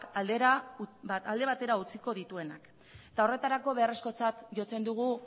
alde batera utziko dituenak eta horretarako beharrezkotzat jotzen dugu